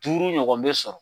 Duuru ɲɔgɔn bɛ sɔrɔ.